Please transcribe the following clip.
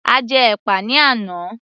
A jẹ́ ẹ̀pà ní àná